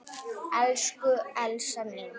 Elsku Elsa mín.